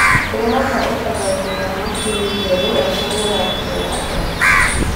ndĩreda ũthathaũri wa macĩni njerũ ya kũhũra ngũo ya l.g